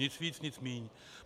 Nic víc, nic míň.